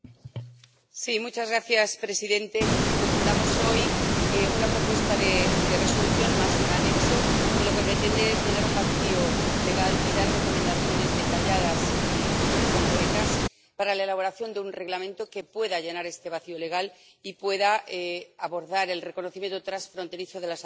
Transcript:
Señor presidente. Presentamos hoy una propuesta de Resolución más un anexo que lo que pretende es llenar un vacío legal y dar recomendaciones detalladas y muy concretas para la elaboración de un Reglamento que pueda llenar este vacío legal y pueda abordar el reconocimiento transfronterizo de las adopciones.